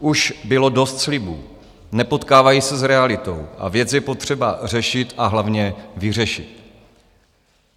Už bylo dost slibů, nepotkávají se s realitou a věc je potřeba řešit, a hlavně vyřešit.